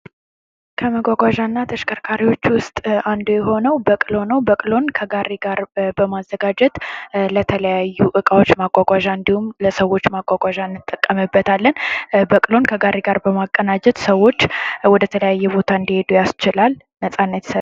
ከመጓጓዣና ተሽከርካሪዎች ውስጥ አንዱ የሆኑው በቅሎ ነው ፤ በቅሎን ከጋሪ ጋር በማዘጋጀት ለተለያዩ እቃዎች ማጓጓዣ እና ለሰዎች መጓዣነት እንጠቀምበታለን በቅሎ ከጋሪ ጋር በማቀናጀት ሰዎች ወደ ተለያየ ቦታ እንዲሄዱ ያስችላል ፥ ነፃነት ይሰጣል።